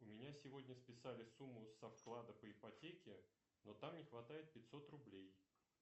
у меня сегодня списали сумму со вклада по ипотеке но там не хватает пятьсот рублей